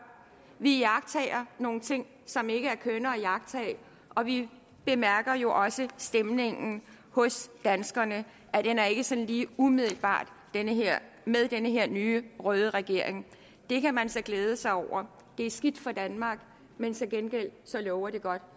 vi iagttager nogle ting som ikke er kønne at iagttage og vi bemærker jo også stemningen hos danskerne den er ikke sådan umiddelbar med den her nye røde regering det kan man så glæde sig over det er skidt for danmark men til gengæld lover det godt